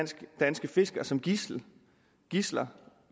danske fiskere som gidsler gidsler